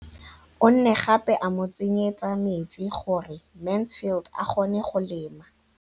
O ne gape a mo tsenyetsa metsi gore Mansfield a kgone go lema.